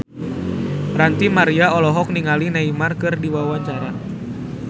Ranty Maria olohok ningali Neymar keur diwawancara